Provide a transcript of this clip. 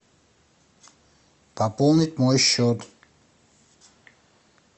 пополнить мой счет